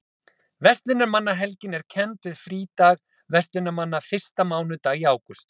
Verslunarmannahelgin er kennd við frídag verslunarmanna fyrsta mánudag í ágúst.